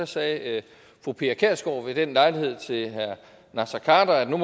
sagde fru pia kjærsgaard ved den lejlighed til herre naser khader at nu